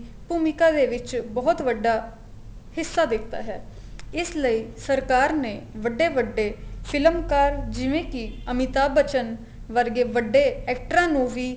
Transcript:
ਭੂਮਿਕਾ ਦੇ ਵਿੱਚ ਬਹੁਤ ਵੱਡਾ ਹਿੱਸਾ ਦਿੱਤਾ ਹੈ ਇਸ ਲਈ ਸਰਕਾਰ ਨੇ ਵੱਡੇ ਵੱਡੇ ਫ਼ਿਲਮਕਾਰ ਜਿਵੇਂ ਕੀ ਅਮਿਤਾਬ ਬਚਣ ਵਰਗੇ ਵੱਡੇ ਐਕਟਰਾ ਨੂੰ ਵੀ